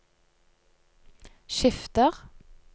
skifter